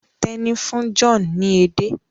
Teni fún John ní ede.